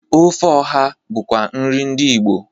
Ofe ọha bụkwa nri ndị Igbo.